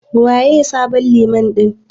Waye sabon Liman ɗin?